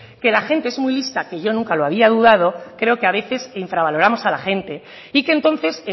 que la gente es muy lista que yo nunca lo había dudado creo que a veces infravaloramos a la gente y que entonces